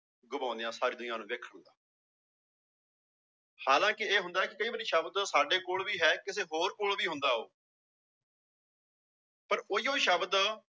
ਗਵਾਉਂਦੇ ਹਾਂ ਹਾਲਾਂਕਿ ਇਹ ਹੁੰਦਾ ਕਿ ਕਈ ਵਾਰੀ ਸ਼ਬਦ ਸਾਡੇੇ ਕੋਲ ਵੀ ਹੈ ਕਿਸੇ ਹੋਰ ਕੋਲ ਵੀ ਹੁੰਦਾ ਉਹ ਪਰ ਉਹੀਓ ਸ਼ਬਦ